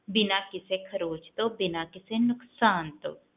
ਬਿਨਾ ਕਿਸੇ ਖਰੋਚ ਤੋਂ ਬਿਨਾ ਕਿਸੇ ਨੁਕਸਾਨ ਤੋਂ